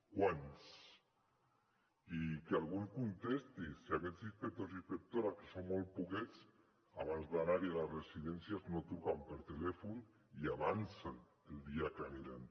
quants i que algú ens contesti si aquests inspectors i inspectores que són molt poquets abans d’anar a les residències no truquen per telèfon i avancen el dia que hi aniran